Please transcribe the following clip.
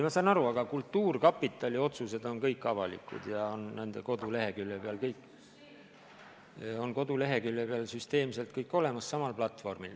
Ma saan aru, aga kultuurkapitali otsused on kõik avalikud ja nende koduleheküljel süsteemselt kõik olemas.